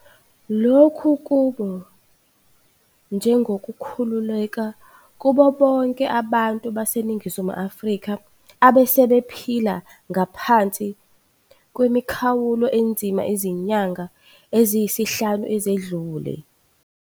Lokhu kube njengokukhu luleka kubobonke abantu baseNingizimu Afrika abesebephila ngaphansi kwemikhawulo enzima izinyanga eziyisihlanu ezedlule.